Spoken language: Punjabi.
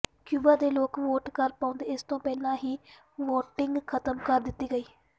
ਕਿਊਬਾ ਦੇ ਲੋਕ ਵੋਟ ਕਰ ਪਾਉਂਦੇ ਇਸ ਤੋਂ ਪਹਿਲਾਂ ਹੀ ਵੋਟਿੰਗ ਖਤਮ ਕਰ ਦਿੱਤੀ ਗਈ